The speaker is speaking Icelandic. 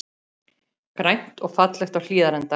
Grænt og fallegt á Hlíðarenda